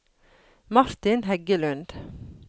Martin Heggelund